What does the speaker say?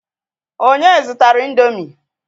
Onye zụtara ị̀ndómị́?